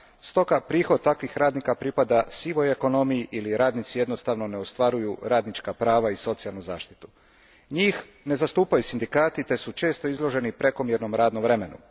Stoga prihod takvih radnika pripada sivoj ekonomiji ili radnici jednostavno ne ostvaruju radnička prava i socijalnu zaštitu. Njih ne zastupaju sindikati te su često izloženi prekomjernom radnom vremenu.